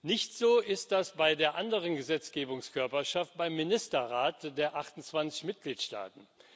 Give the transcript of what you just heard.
Nicht so ist das bei der anderen Gesetzgebungskörperschaft, beim Ministerrat der 28 Mitgliedstaaten.